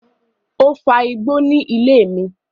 O fa igbó ní ilé mi